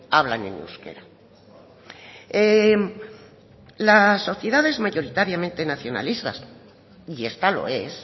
hablan en euskera las sociedades mayoritariamente nacionalistas y esta lo es